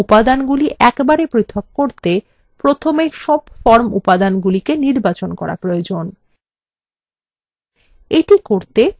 সব form উপাদানগুলি একবারে পৃথক করতে প্রথমে সমস্ত form উপাদানগুলি নির্বাচন করা প্রয়োজন